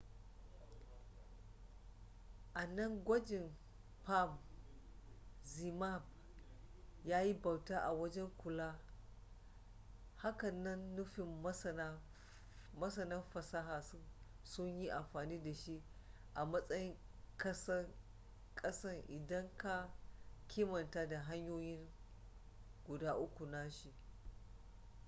a nan gwajin palm zmapp yayi bauta a wajen kula hakan na nufin masana fasaha sun yi amfani da shi a matsayin kasan idan ka kimanta da hanyoyin guda uku nashi